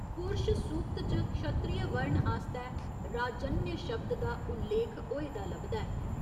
'पुरश सूक्त' च क्षत्रिय वर्ण आस्तै 'राजन्य' शब्द दा उल्लेख होए दा लभदा ऐ।